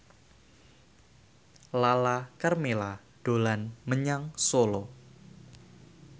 Lala Karmela dolan menyang Solo